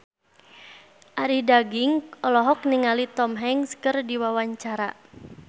Arie Daginks olohok ningali Tom Hanks keur diwawancara